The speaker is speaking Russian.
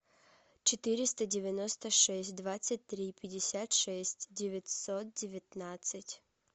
четыреста девяносто шесть двадцать три пятьдесят шесть девятьсот девятнадцать